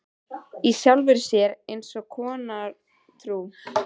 Í sjálfri sér eins konar trú.